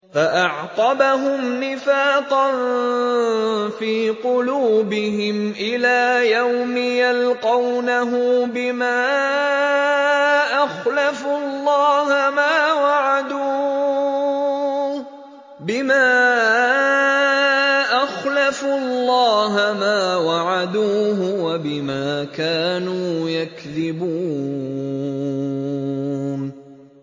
فَأَعْقَبَهُمْ نِفَاقًا فِي قُلُوبِهِمْ إِلَىٰ يَوْمِ يَلْقَوْنَهُ بِمَا أَخْلَفُوا اللَّهَ مَا وَعَدُوهُ وَبِمَا كَانُوا يَكْذِبُونَ